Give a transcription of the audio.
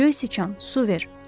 Göy siçan, su ver.